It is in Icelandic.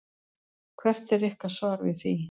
Hvert er ykkar svar við því?